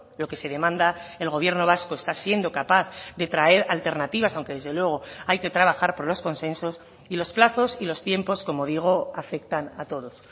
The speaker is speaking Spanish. lo que se demanda el gobierno vasco está siendo capaz de traer alternativas aunque desde luego hay que trabajar por los consensos y los plazos y los tiempos como digo afectan a todos